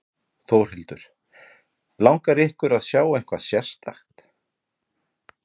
Þórhildur: Langar ykkur að sjá eitthvað sérstakt?